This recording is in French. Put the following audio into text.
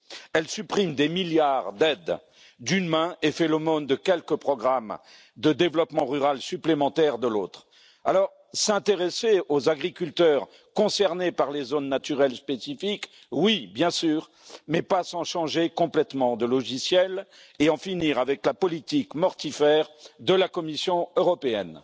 Elle supprime des milliards d'aides d'une main et fait l'aumône de quelques programmes de développement rural supplémentaires de l'autre. Alors, s'intéresser aux agriculteurs concernés par les zones naturelles spécifiques, oui, bien sûr, mais pas sans changer complètement de logiciel et en finir avec la politique mortifère de la Commission européenne.